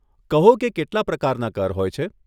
કહો કે કેટલાં પ્રકારના કર હોય છે?